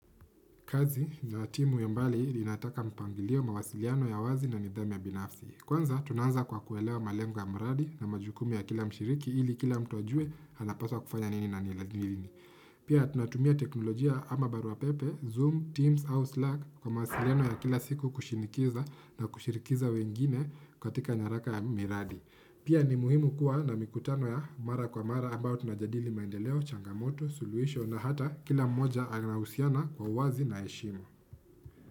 Kazi na timu ya mbali inataka mpangilio, mawasiliano ya wazi na nidhamu ya binafsi. Kwanza tunaanza kwa kuelewa malengo ya mradi na majukumu ya kila mshiriki ili kila mtu ajue anapaswa kufanya nini na. Pia tunatumia teknolojia ama barua pepe, Zoom, Teams au Slac kwa mawasiliano ya kila siku kushinikiza na kushirikiza wengine katika nyaraka ya miradi. Pia ni muhimu kuwa na mikutano ya mara kwa mara ambayo tunajadili maendeleo, changamoto, suluhisho na hata kila mmoja anahusiana kwa uwazi na heshima.